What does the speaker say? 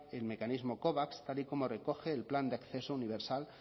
el mecanismo covax tal y como recoge el plan de acceso universal